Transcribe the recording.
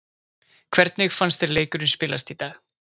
Hvernig fannst þér leikurinn spilast í dag?